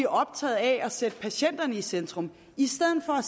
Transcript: optaget af at sætte patienterne i centrum i stedet for